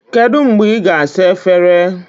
Kedu mgbe ị ga-asa efere?